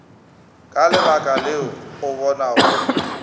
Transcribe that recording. ka lebaka leo o bonago